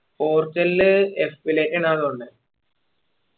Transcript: പോർച്ചുഗല് തോന്നുന്നേ